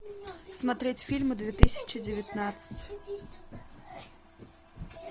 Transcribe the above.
смотреть фильмы две тысячи девятнадцать